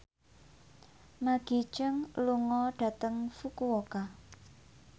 Maggie Cheung lunga dhateng Fukuoka